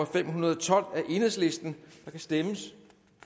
fem hundrede og tolv af kan stemmes